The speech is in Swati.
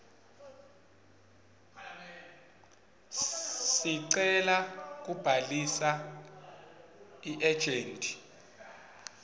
sicelo sekubhalisa iejenti